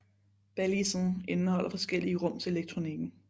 Balisen indeholder forskellige rum til elektronikken